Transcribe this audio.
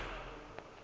ba a tšhoga mo go